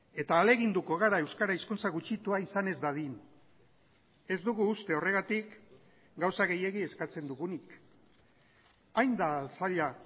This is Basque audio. eta ahaleginduko gara euskara hizkuntza gutxitua izan ez dadin ez dugu uste horregatik gauza gehiegi eskatzen dugunik hain da zaila